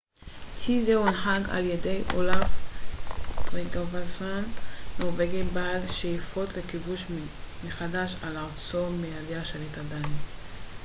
צי זה הונהג על ידי אולאף טריגוואסון נורווגי בעל שאיפות לכיבוש מחדש את ארצו מידי השליט הדני